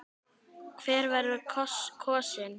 Hver verður kosinn?